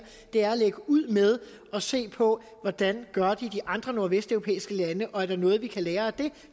er at lægge ud med at se på hvordan gør i de andre nordvesteuropæiske lande og om der er noget vi kan lære af det